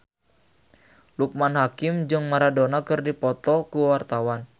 Loekman Hakim jeung Maradona keur dipoto ku wartawan